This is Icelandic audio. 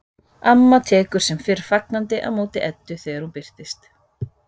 Amma tekur sem fyrr fagnandi á móti Eddu þegar hún birtist.